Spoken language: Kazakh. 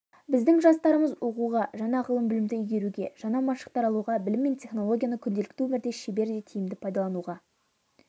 біздің жастарымыз оқуға жаңа ғылым-білімді игеруге жаңа машықтар алуға білім мен технологияны күнделікті өмірде шебер де тиімді пайдалануға